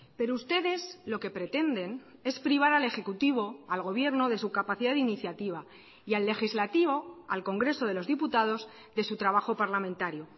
pero ustedes lo que pretenden es privar al ejecutivo al gobierno de su capacidad de iniciativa y al legislativo al congreso de los diputados de su trabajo parlamentario